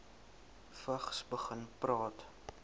vigs begin praat